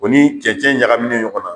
O ni cɛncɛn ɲagaminen ɲɔgɔna